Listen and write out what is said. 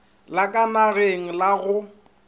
la ka nageng la go